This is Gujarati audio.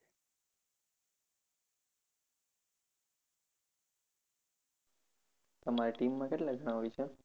તમારે team કેટલા જણા હોય છે?